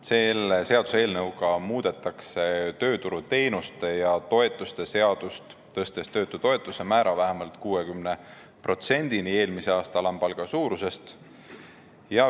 Selle seaduseelnõuga muudetakse tööturuteenuste ja -toetuste seadust, tõstes töötutoetuse määra vähemalt 60 protsendini eelmise aasta alampalga suurusest.